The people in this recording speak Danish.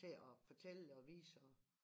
Til at fortælle dig og vise og